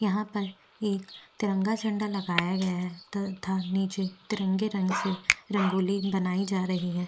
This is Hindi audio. यहाँ पर एक तिरंगा झंडा लगाया गया है तथा नीचे तिरंगे से रंगोली बनाई जा रही है।